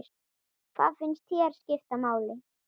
Hvað finnst þér skipta máli?